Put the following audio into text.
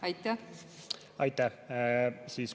Aitäh!